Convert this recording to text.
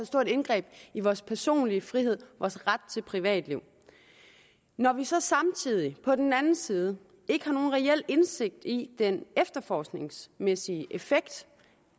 stort indgreb i vores personlige frihed og i vores ret til privatliv når vi så samtidig på den anden side ikke har nogen reel indsigt i den efterforskningsmæssige effekt